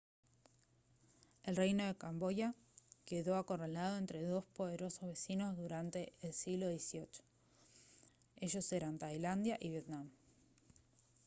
el reino de camboya quedó acorralado entre dos poderosos vecinos durante el siglo xviii ellos eran tailandia y vietnam